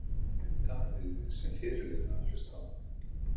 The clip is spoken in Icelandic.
Hvernig var fyrir Davíð, sem fyrirliða, að hlusta á það?